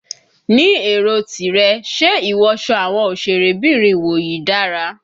Ní èrò tìrẹ, ṣe ìwọsọ àwọn òsèré bìnrin ìwòyí dára?